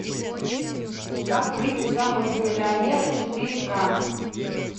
как выйти замуж за миллионера четыре ка